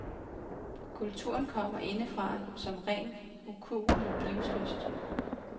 Kulturen kommer indefra som ren ukuelig livslyst.